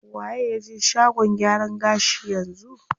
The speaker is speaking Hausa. Waye ya je shagon gyaran gashi yanzu?